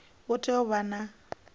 u tea u vha na